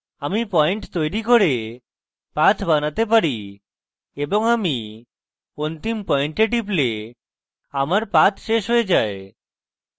আমি পয়েন্ট তৈরী করে path বানাতে পারি এবং আমি অন্তিম পয়েন্টে টিপলে আমার path শেষ হয়ে যায়